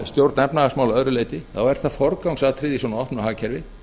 stjórn efnahagsmála að öðru leyti þá er það forgangsatriði í svona opna hagkerfi